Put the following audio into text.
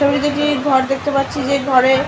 ছবিতে একটি ঘর দেখতে পাচ্ছি যে ঘরে--